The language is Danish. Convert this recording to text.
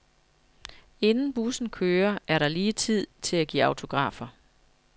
Inden bussen kører, er der lige tid til at give autografer.